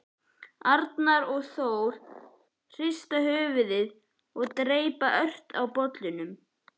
Arnar og Þór hrista höfuðið og dreypa ört á bollunni.